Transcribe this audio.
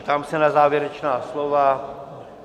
Ptám se na závěrečná slova?